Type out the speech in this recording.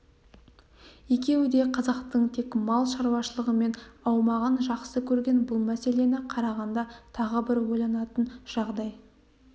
екеуі де қазақтың тек мал шаруашылығынан аумағанын жақсы көрген бұл мәселені қарағанда тағы бір ойланатын жағдай